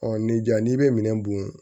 ni jaa n'i bɛ minɛn dun